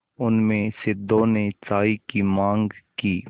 उनमें से दो ने चाय की माँग की